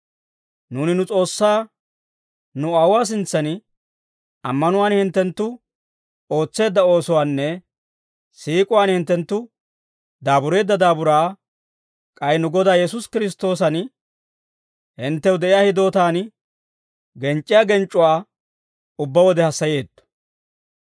Nuuni nu S'oossaa, nu Aawuwaa sintsan ammanuwaan hinttenttu ootseedda oosuwaanne, siik'uwaan hinttenttu daabureedda daaburaa, k'ay nu Godaa Yesuusi Kiristtoosan hinttew de'iyaa hidootaan genc'c'iyaa genc'c'uwaa ubbaa wode hassayeetto.